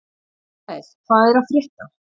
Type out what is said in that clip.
Mikkael, hvað er að frétta?